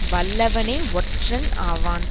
வல்லவனே ஒற்றன் ஆவன்